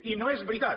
i no és veritat